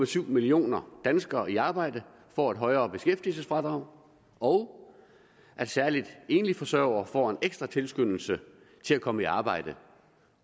to millioner danskere i arbejde får et højere beskæftigelsesfradrag og at særlig enlige forsørgere får en ekstra tilskyndelse til at komme i arbejde